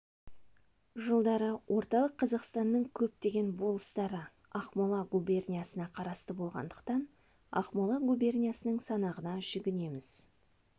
жылдары орталық қазақстанның көптеген болыстары ақмола губерниясына қарасты болғандықтан ақмола губерниясының санағына жүгінеміз